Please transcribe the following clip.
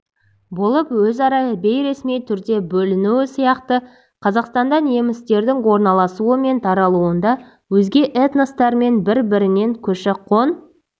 болып өзара бейресми түрде бөлінуі сияқты қазақстанда немістердің орналасуы мен таралуында өзге этностармен бір-бірінен көші-қон